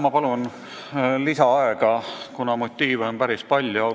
Ma palun lisaaega, kuna motiive on päris palju!